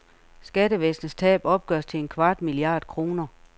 Skattevæsenets tab opgøres til en kvart milliard kroner.